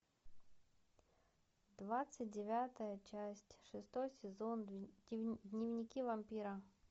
двадцать девятая часть шестой сезон дневники вампира